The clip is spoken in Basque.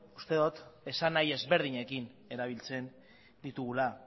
uste dut esanahi ezberdinekin erabiltzen ditugula